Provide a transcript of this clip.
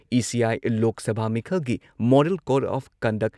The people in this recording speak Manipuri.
ꯏ.ꯁꯤ.ꯑꯥꯢ ꯂꯣꯛ ꯁꯚꯥ ꯃꯤꯈꯜꯒꯤ ꯃꯣꯗꯜ ꯀꯣꯗ ꯑꯣꯐ ꯀꯟꯗꯛ